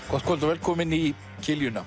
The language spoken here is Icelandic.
gott kvöld og velkomin í